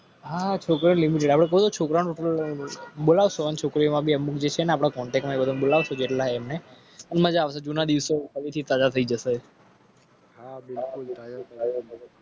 Limited છોકરા છોકરીઓ.